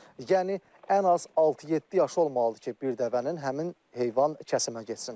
Yəni ən az altı-yeddi yaşı olmalıdır ki, bir dəvənin həmin heyvan kəsimə getsin.